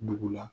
Dugu la